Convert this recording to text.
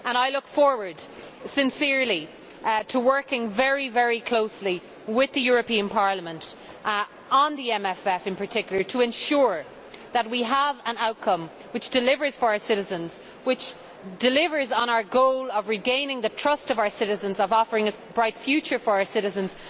I sincerely look forward to working very closely with the European Parliament on the MFF in particular, to ensure that we have an outcome which delivers for our citizens and which delivers on our goal of regaining the trust of our citizens and of offering a bright future for our citizens.